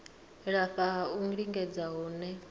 lafha ha u lingedza hune